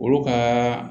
Olu ka